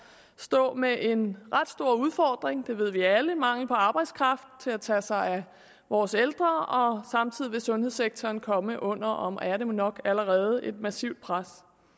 stå med en ret stor udfordring det ved vi alle med mangel på arbejdskraft til at tage sig af vores ældre og samtidig vil sundhedssektoren komme under og er det nok allerede et massivt pres